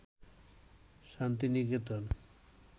Santiniketan